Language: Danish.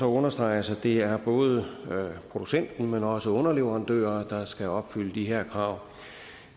understreges at det er både producenten men også underleverandører der skal opfylde de her krav